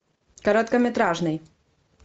короткометражный